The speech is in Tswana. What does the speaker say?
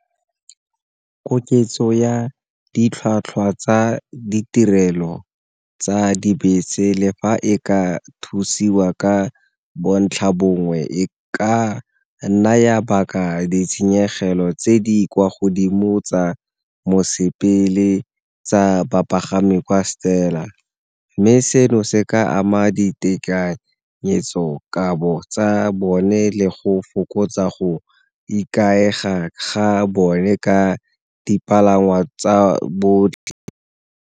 Koketso ya ditlhwatlhwa tsa ditirelo tsa dibese le fa e ka thusiwa ka bontlha bongwe e ka naya ditshenyegelo tse di kwa godimo tsa mosepele tsa bapagami kwa Stella, mme seno se ka ama ditekanyetsokabo tsa bone le go fokotsa go ikaega ga bone ka dipalangwa tsa botlhe.